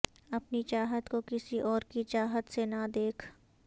اپنی چاہت کو کسی اور کی چاہت سے نہ دیکھ